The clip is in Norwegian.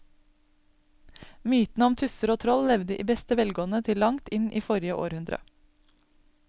Mytene om tusser og troll levde i beste velgående til langt inn i forrige århundre.